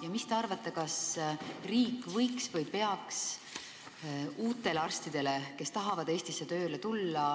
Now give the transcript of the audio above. Ja mis te arvate, kas riik võiks uutele arstidele, kes tahavad Eestisse tööle tulla,